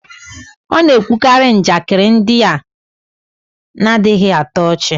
ọ na-ekwukarị njakịrị ndị na-adịghị atọ ọchị